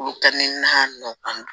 Olu ka ni a nɔ kan